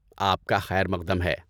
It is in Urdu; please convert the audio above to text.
آپکا خیر مقدم ہے!